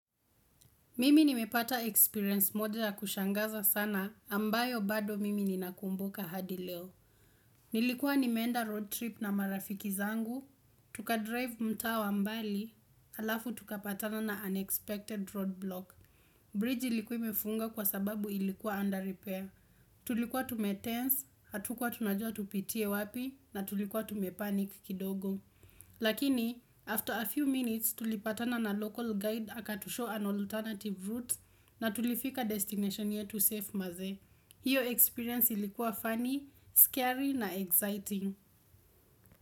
Mimi nimepata experience moja ya kushangaza sana ambayo bado mimi ninakumbuka hadi leo. Nilikuwa nimeenda road trip na marafiki zangu, tukadrive mtaa wa mbali, halafu tukapatana na unexpected road block. Bridge ilikuwa imefungwa kwa sababu ilikuwa under repair. Tulikuwa tumetense, hatukwa tunajua tupitie wapi na tulikuwa tumepanik kidogo. Lakini, after a few minutes tulipatana na local guide aka to show an alternative route na tulifika destination yetu safe maze. Hiyo experience ilikuwa funny, scary na exciting.